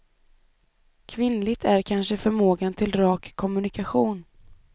Kvinnligt är kanske förmågan till rak kommunikation.